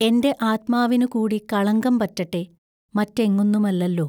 എന്റെ ആത്മാവിനുകൂടി കളങ്കം പറ്റട്ടെ മറ്റെങ്ങുന്നുമല്ലല്ലോ?